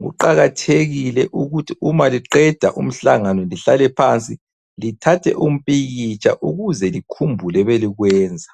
Kuqakathekile ukuthi uma liqeda umhlangano lihlale phansi lithathe umpikitsha ukuze likhumbule ebelikwenza.